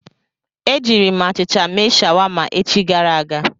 E jiiri m achịcha mee shawama echi gara aga.